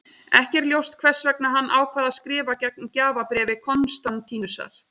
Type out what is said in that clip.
Ekki er ljóst hvers vegna hann ákvað að skrifa gegn gjafabréfi Konstantínusar.